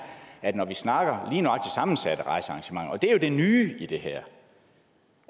at når vi snakker sammensatte rejsearrangementer og det er jo det nye i det her